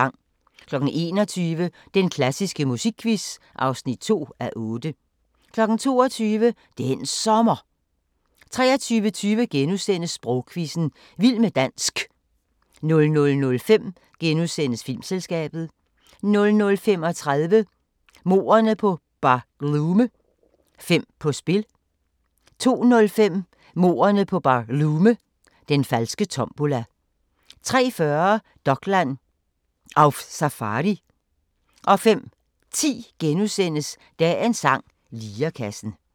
21:00: Den klassiske musikquiz (2:8) 22:00: Den Sommer 23:20: Sprogquizzen – Vild med dansk * 00:05: Filmselskabet * 00:35: Mordene på BarLume - fem på spil 02:05: Mordene på BarLume – Den falske tombola 03:40: Dokland: Auf Safari 05:10: Dagens sang: Lirekassen *